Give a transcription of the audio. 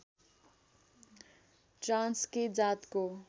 Transkei जातको